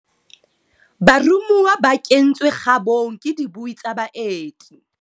Baromuwa ba kentswe kgabong ke dibui tsa baeti.